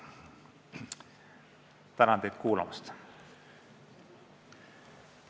Tänan teid kuulamast!